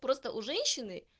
просто у женщины